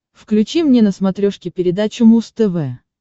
включи мне на смотрешке передачу муз тв